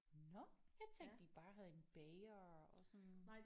Nåh jeg tænkte de bare havde en bager og sådan